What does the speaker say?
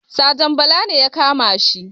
Sajan bala ne ya kamashi